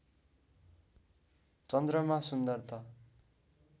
चन्द्रमा सुन्दरता